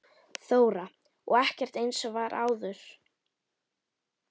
Þóra: Og ekkert eins og var áður?